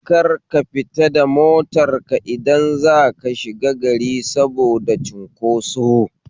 Kar ka fita da motar ka idan zaka shiga gari saboda cinkoso